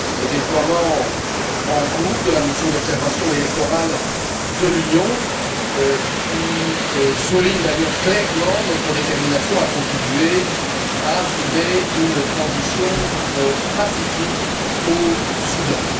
Le déploiement en cours de la mission d'observation électorale de l'Union souligne d'ailleurs clairement notre détermination à contribuer à assurer une transition pacifique au Soudan.